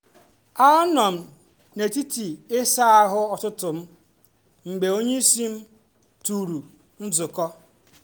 a m nọ n’etiti isa ahu ụtụtụ m mgbe onyeisi m tụrụ nzukọ